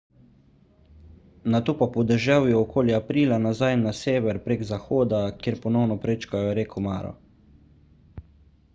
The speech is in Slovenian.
nato pa po deževju okoli aprila nazaj na sever prek zahoda kjer ponovno prečkajo reko maro